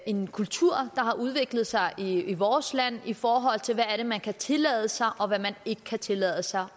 en kultur der har udviklet sig i vores land i forhold til hvad man kan tillade sig og hvad man ikke kan tillade sig